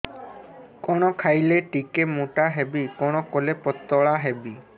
କଣ ଖାଇଲେ ଟିକେ ମୁଟା ହେବି କଣ କଲେ ପତଳା ହେବି